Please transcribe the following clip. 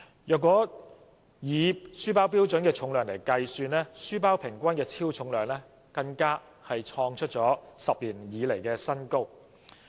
如果以書包的標準重量計算，書包平均的超重量更創出10年新高。